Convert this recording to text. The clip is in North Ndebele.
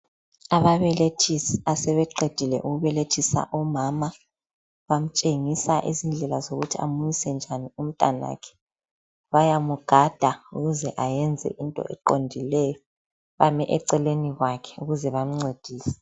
Ababelethisi asebeqedile ukubelethisa umama bamtshengisa izindla zokuthi amunyise njani umntwanakhe bayamugada ukuze ayenze into eqondileyo bame eceleni kwakhe ukuze bemncedise.